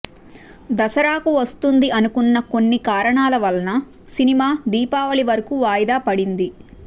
దసరాకు వస్తుంది అనుకున్నా కొన్ని కారణాల వలన సినిమా దీపావళి వరకు వాయిదా పడింది